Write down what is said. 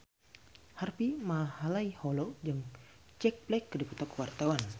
Harvey Malaiholo jeung Jack Black keur dipoto ku wartawan